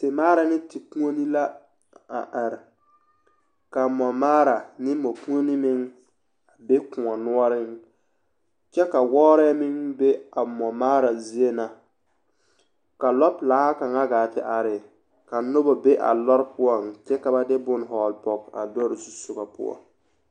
Temaara ne tekuoni la a are ka mɔmaara ane mɔkuoni meŋ a be kõɔ noɔreŋ kyɛ ka wɔɔrɛɛ meŋ be a mɔmaara zie na ka lɔpelaa kaŋ gaa te are ka noba be a lɔre poɔŋ kyɛ ka hɔgele pɔge a lɔre zusogɔ poɔ.